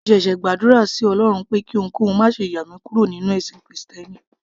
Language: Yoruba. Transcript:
mo ṣẹ̀ṣẹ̀ gbàdúrà sí ọlọrun pé kí ohunkóhun máṣe yà mí kúrò nínú ẹ̀sìn krìstẹ́nì